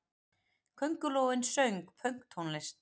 Köngulóin söng pönktónlist!